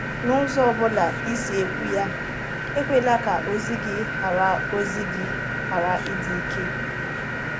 N’ụzọ ọ bụla ị si ekwu ya, e kwela ka ozi gị ghara ozi gị ghara ịdị ike.